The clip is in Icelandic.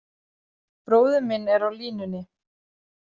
Bróðir minn er á línunni.